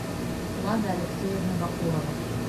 лада алексеевна бакурова